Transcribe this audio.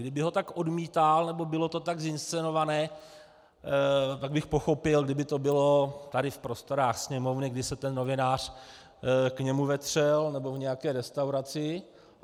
Kdyby ho tak odmítal nebo bylo to tak zinscenované, tak bych pochopil, kdyby to bylo tady v prostorách Sněmovny, kdy se ten novinář k němu vetřel, nebo v nějaké restauraci.